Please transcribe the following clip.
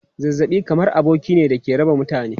Zazzabi kamar aboki ne da ke raka mutane.